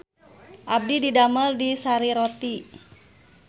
Abdi didamel di Sari Roti